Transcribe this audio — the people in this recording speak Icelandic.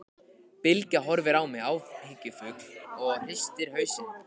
Bylgja horfir á mig áhyggjufull og hristir hausinn.